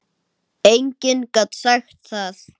Enginn gat sagt það.